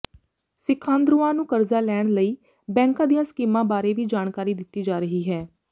ਸਿਖਾਂਦਰੂਆਂ ਨੂੰ ਕਰਜ਼ਾ ਲੈਣ ਲਈ ਬੈਂਕਾਂ ਦੀਆਂ ਸਕੀਮਾਂ ਬਾਰੇ ਵੀ ਜਾਣਕਾਰੀ ਦਿੱਤੀ ਜਾ ਰਹੀ ਹੈ